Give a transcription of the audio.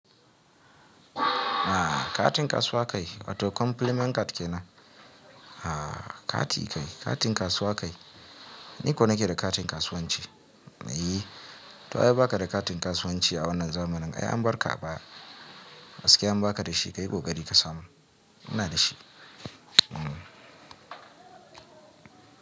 Ah katin kasuwa kai wato compliment card kenan? Ah kati kai, katin kasuwa kai. Ni ko nake da katin kasuwanci. Eey! To wa ya baka da katin kasuwanci a wannan zamanin? Ai an barka ba. Gaskiya in baka da shi ka yi kokari ka samu. Ina da shi. Hmm.